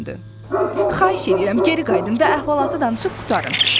Xahiş edirəm geri qayıdın və əhvalatı danışıb qurtarın.